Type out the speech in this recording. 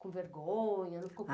com vergonha, não ficou com...